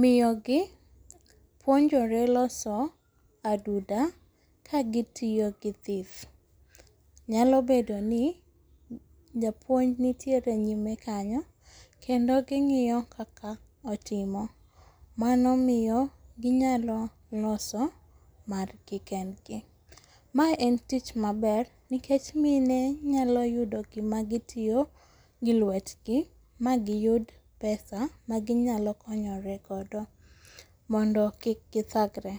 Miyogi puonjore loso aduda kagitiyo gi thith, nyalo bedoni japuonj nitiere nyime kanyo kendo ging'iyo kaka otimo, mano miyo ginyalo loso margi kendgi. Mae en tich maber, nikech mine nyalo yudo gima gitiyo gi lwetgi magiyud pesa maginyalo konyore godo mondo gik gidhagre.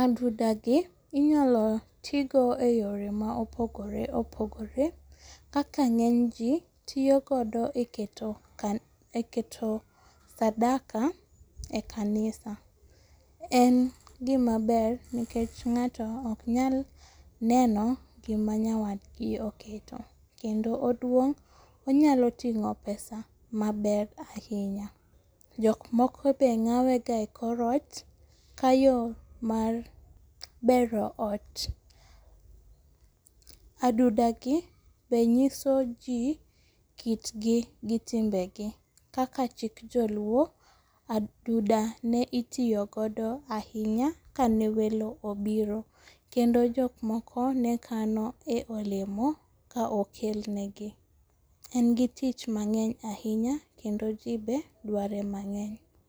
Adudagi inyalo tii go e yore maopogore opogore kaka ng'eny ji tiyo godo e keto sadaka e kanisa. En gima ber nikech ng'ato oknyal neno gima nyawadgi oketo, kendo oduong' onyalo ting'o pesa maber ahinya. Jokmoko be ng'awega e korot ka yo mar bero ot. Adudagi be nyiso ji kitgi gi timbegi kaka kit joluo adudane itiyo godo ahinya kane welo obiro, kendo jokmoko nekano e olemo ka okelnegi. En gi tich mang'eny ahinya kendo jii be dware mang'eny.